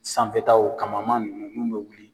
Sanfɛ ta o kamama nunnu mun bɛ wuli.